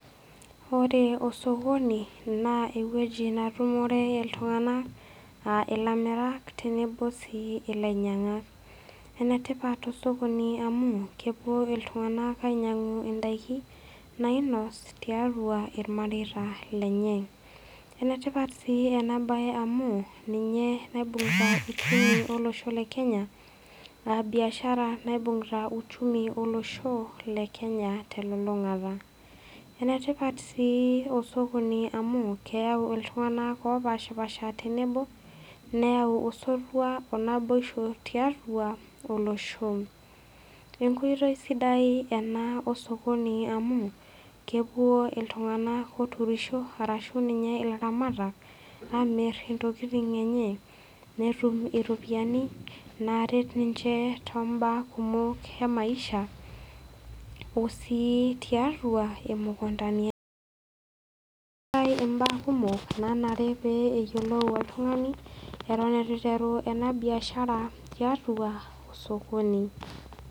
Ore osokoni, naa ewueji natumore iltung'ana a ilamirak tenebo sii ilainyang'ak. Enetipat osokoni amu, kewuo iltung'ana ainyang'u indaiki nainos tiatua ilmareita lenye. Enetipat sii ena bae amu ninye naibung'ita uchumi olosho le Kenya, a biashara naibung'ita uchumi olosho le kenya telulung'ata. Enetipat sii osokoni amu, keyau iltung'ana opaashipaasha tenebo neyau osotua onaboisho tiatua olosho. Enkoitoi sidai ena osokoni amu kewuo iltung'ana oturisho ashu ninye ilaramatak intokitin enche, netum iropiani naret ninche too mbaa kumok emaisha o sii tiatua imukundani. Keatai imbaa kumok nanare neyiolou oltung'ani eton eitu eiteru ena biashara tiatua osokoni.